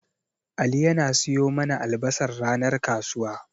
Ali yana siyo mana albasar ranar kasuwa.